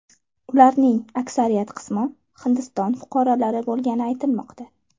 Ularning aksariyat qismi Hindiston fuqarolari bo‘lgani aytilmoqda.